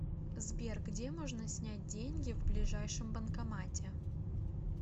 сбер где можно снять деньги в ближайшем банкомате